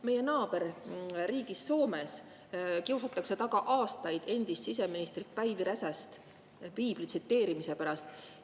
Meie naaberriigis Soomes kiusatakse aastaid taga endist siseministrit Päivi Räsast piibli tsiteerimise pärast.